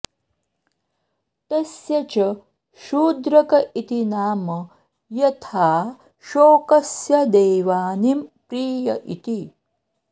तस्य च शूद्रक इति नाम यथाऽशोकस्य देवानीं प्रिय इति